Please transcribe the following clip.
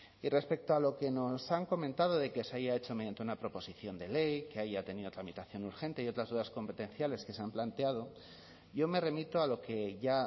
y respecto a lo que nos han comentado de que se haya hecho mediante una proposición de ley que haya tenido tramitación urgente y otras dudas competenciales que se han planteado yo me remito a lo que ya